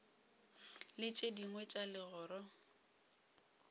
le tše dingwe tša legoro